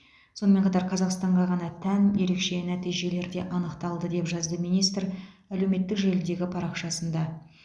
сонымен қатар қазақстанға ғана тән ерекше нәтижелер де анықталды деп жазды министр әлеуметтік желідегі парақшасында